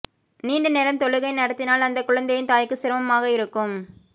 நீண்ட நேரம் தொழுகை நடத்தினால் அந்த குழந்தையின் தாய்க்கு சிரமமாக இருக்கும்